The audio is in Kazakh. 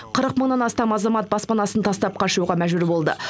қырық мыңнан астам азамат баспанасын тастап қашуға мәжбүр болды